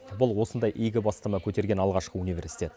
бұл осындай игі бастама көтерген алғашқы университет